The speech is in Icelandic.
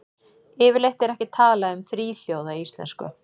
Yfirleitt er ekki talað um þríhljóða í íslensku.